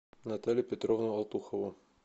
наталью петровну алтухову